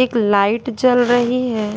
एक लाइट जल रही है।